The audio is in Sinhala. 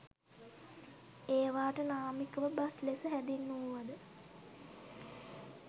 ඒවාට නාමිකව බස් ලෙස හැඳින්වූවද